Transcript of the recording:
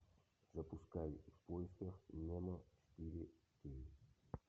запускай в поисках немо четыре кей